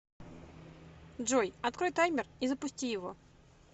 джой открой таймер и запусти его